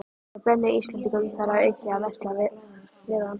Þeir bönnuðu Íslendingum þar að auki að versla við hann.